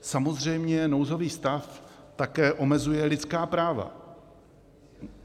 Samozřejmě nouzový stav také omezuje lidská práva.